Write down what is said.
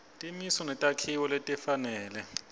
timiso netakhiwo letifanele